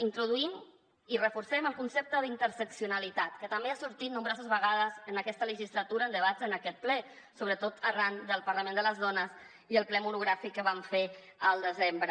introduïm i reforcem el concepte d’ interseccionalitat que també ha sortit nombroses vegades en aquesta legislatura en debats en aquest ple sobretot arran del parlament de les dones i el ple monogràfic que vam fer al desembre